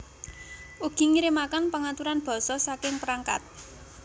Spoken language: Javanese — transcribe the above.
Ugi ngirimaken pengaturan basa saking perangkat